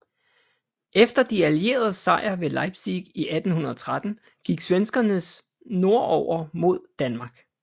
Efter de allieredes sejr ved Leipzig i 1813 gik svenskerne nordover mod Danmark